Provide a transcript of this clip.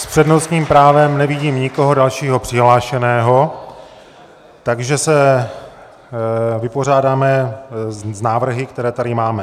S přednostním právem nevidím nikoho dalšího přihlášeného, takže se vypořádáme s návrhy, které tady máme.